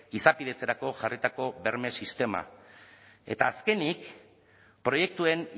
izapidetzerako jarritako berme sistema eta azkenik proiektuen